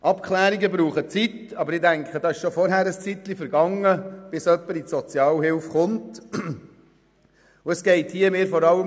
Abklärungen brauchen Zeit, aber ich denke, bevor jemand in die Sozialhilfe kommt, ist bereits einige Zeit vergangen.